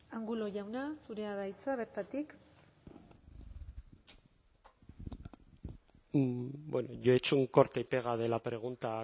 angulo jauna zurea da hitza bertatik bueno yo he hecho un corta y pega de la pregunta